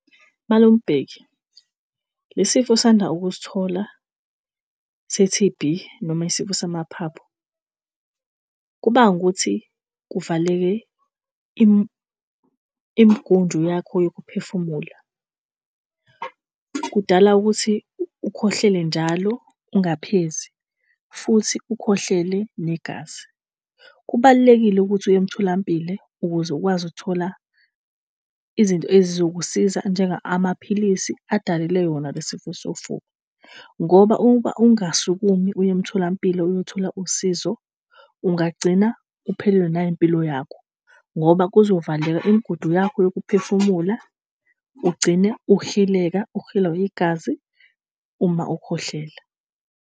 Malume uBheki, lesi sifo osanda ukusithola se-T_B noma isifo samaphaphu, kubange ukuthi kuvaleke imigudu yakho yokuphefumula. Kudala ukuthi ukhwehlele njalo ungaphezi futhi ukhwehlele negazi. Kubalulekile ukuthi uye emtholampilo ukuze ukwazi ukuthola izinto ezizokusiza njengamaphilisi adalelwe wona le isifo sofuba. Ngoba uma ungasukumi uye emtholampilo uyothola usizo, ungagcina uphelelwe nayimpilo yakho ngoba kuzovaleka imigudu yakho yokuphefumula ugcine uhileka, ulihlwa igazi uma ukhwehlela.